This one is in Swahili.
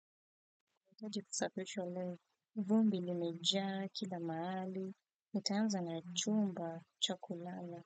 Nahitaji kusafishwa leo vumbi limejaa, kila mahali, nita anza na chumba cha kulala.